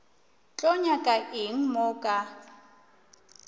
tlo nyaka eng mo ka